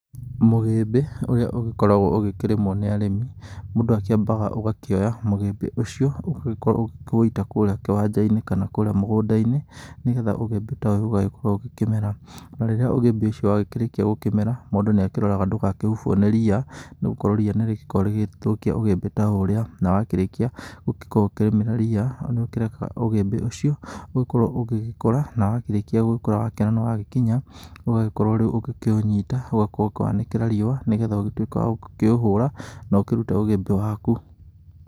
Mũgĩmbĩ ũrĩa ũgĩkoragwo ũgĩkĩrĩmwo nĩ arĩmi, mũndũ akĩambaga ũgakĩoya mũgĩmbĩ ũcio, ũgĩkorwo ũgĩkĩũita kũrĩa kĩwanja-inĩ kana kũrĩa mũgũnda-inĩ, nĩ getha ũgĩmbĩ ta ũyũ ũgagĩkorwo ũgĩkĩmera. Na rĩrĩa ũgĩmbĩ ũcio wagĩkĩrĩkia gũkĩmera, mũndũ nĩakĩroraga ndũgakĩhubwo nĩ riia, nĩ gũkorwo riia nĩ rĩgĩkoragwo rĩgĩthũkia ũgĩmbĩ ta ũrĩa. Na wakĩrĩkia gũgĩkorwo ũgĩkĩrĩmĩra riia, nĩũkĩrekaga ũgĩmbĩ ũcio ũgĩkorwo ũgĩgĩkũra na wakĩrĩkia gũgĩkũra, wakĩona nĩ wagĩkinya, ũgagĩkorwo rĩu ũgĩkĩũnyita, ũgakorwo ũkĩwanĩkĩra riua nĩ getha ũgĩtuĩke wa gũkĩũhũra na ũkĩrute ũgĩmbĩ waku.